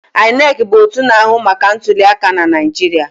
INEC bụ otu na-ahụ maka ntuliaka na Naijiria.